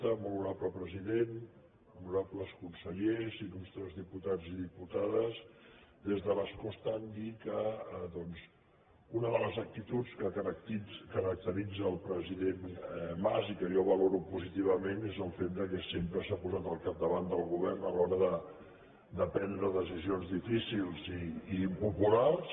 molt honorable president honorables consellers il·lustres diputats i diputades des de l’escó estant dir que una de les actituds que caracteritza el president mas i que jo valoro positivament és el fet que sempre s’ha posat al capdavant del govern a l’hora de prendre decisions difícils i impopulars